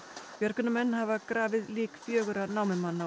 björgunarmenn hafa grafið lík fjögurra